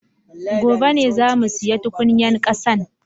Gobe ne zamu siya tukunyan kasan